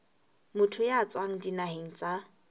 motho ya tswang dinaheng tsa